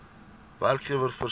werkgewer voorsien